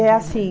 É assim.